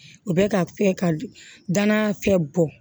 U bɛ ka danaya fɛn bɔ